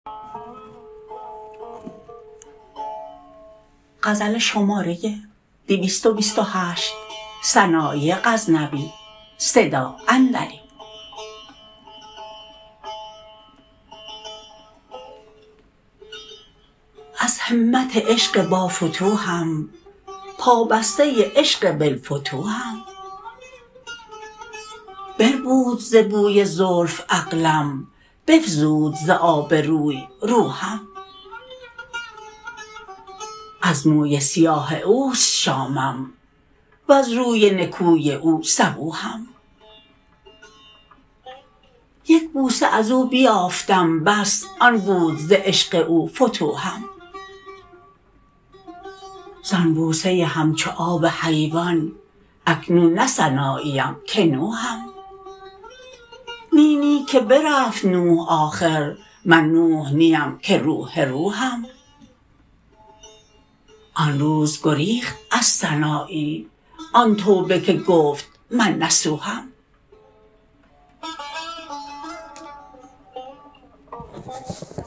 از همت عشق بافتوحم پا بسته عشق بلفتوحم بربود ز بوی زلف عقلم بفزود ز آب روی روحم از موی سیاه اوست شامم وز روی نکوی او صبوحم یک بوسه ازو بیافتم بس آن بود ز عشق او فتوحم زان بوسه همچو آب حیوان اکنون نه سناییم که نوحم نی نی که برفت نوح آخر من نوح نیم که روح روحم آن روز گریخت از سنایی آن توبه که گفت من نصوحم